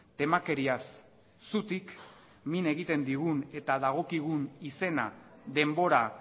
temakeriaz zutik min egiten digun eta dagokigun izena denbora